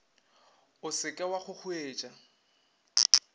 o se ke wa kgokgoetša